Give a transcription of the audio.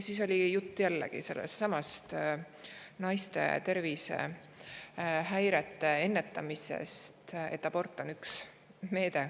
Siis oli juttu naiste tervisehäirete ennetamisest, et abort on üks meede …